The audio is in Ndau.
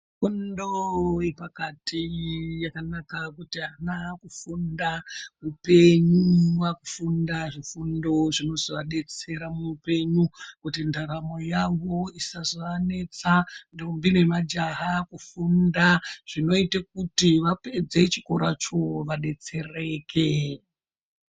Fundo yepakati yakanaka kuti ana akufunda upenyu akuFunda zvifundozvinozoadetsera muuoenyu zvinoite kuti ndaramo yawo isazoanetsa ndombi nemajaha akufunda zvinoite kuti vapedze chikoracgo vadetsereke.